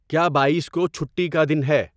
کیا بائیس کو چھٹی کا دن ہے